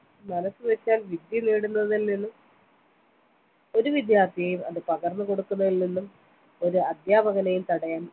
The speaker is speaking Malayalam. മനസ്സുവെച്ചാൽ വിദ്യനേടുന്നതിൽ നിന്നും ഒരു വിദ്യാർത്ഥിയെയും അത് പകർന്നുകൊടുക്കുന്നതിൽ നിന്നും ഒരു അധ്യാപകനെയും തടയാൻ